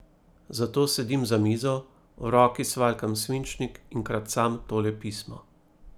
Zato sedim za mizo, v roki svaljkam svinčnik in kracam tole pismo.